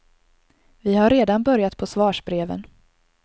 Vi har redan börjat på svarsbreven.